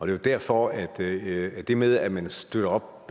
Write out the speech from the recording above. det er derfor at det det med at man støtter op